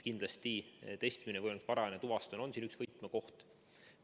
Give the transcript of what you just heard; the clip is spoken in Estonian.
Kindlasti on testimine ja võimalikult varajane tuvastamine siin üks võtmekohti.